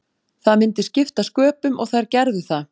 Það myndi skipta sköpum og þær gerðu það.